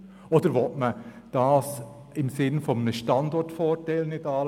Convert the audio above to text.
Oder will man das im Sinne eines Standortvorteils nicht anschauen?